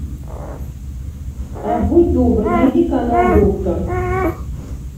будь добр найди канал доктор